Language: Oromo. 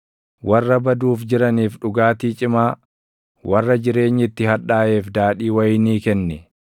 Warra baduuf jiraniif dhugaatii cimaa, warra jireenyi itti hadhaaʼeef daadhii wayinii kenni;